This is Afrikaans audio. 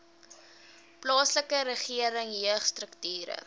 plaaslike regering jeugstrukture